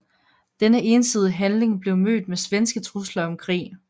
Denne ensidige handling blev mødt med svenske trusler om krig